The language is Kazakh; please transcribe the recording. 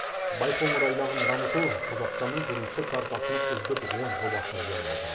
байқоңыр айлағын дамыту қазақстанның туристік картасының үздік он жобасына еніп отыр